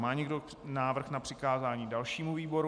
Má někdo návrh na přikázání dalšímu výboru?